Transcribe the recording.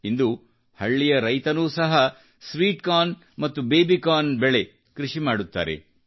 ಇಂದು ಹಳ್ಳಿಯ ರೈತನೂ ಸಹ ಸ್ವೀಟ್ಕಾರ್ನ್ ಮತ್ತು ಬೇಬಿಕಾರ್ನ್ ಕೃಷಿ ಮಾಡುತ್ತಾರೆ